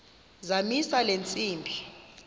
zamisa le ntsimbi